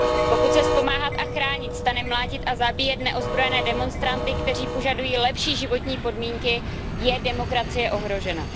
Pokud se z Pomáhat a chránit stane mlátit a zabíjet neozbrojené demonstranty, kteří požadují lepší životní podmínky, je demokracie ohrožena.